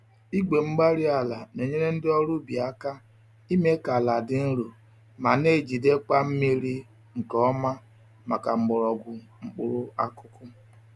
igwe-mgbárí-alai na-enyere ndị ọrụ ubi aka ime ka àlà dị nro ma n'ejidekwa mmírí nke ọma màkà mgbọrọgwụ mkpụrụ akụkụ